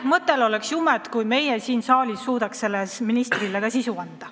Mõttel oleks jumet, kui me suudaks sellele ministriametile ka sisu anda.